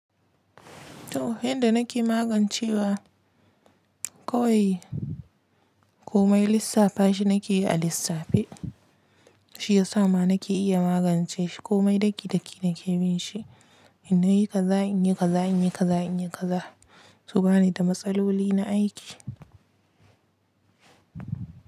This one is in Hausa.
To yanda nake magancewa kawai komai lissafa shi nake yi a lissafe. Shi ya sa ma nake iya magance shi komai daki daki nake bin shi. In nayi kaza inyi kaza inyi kaza inyi kaza. To bani da matsaloli na aiki.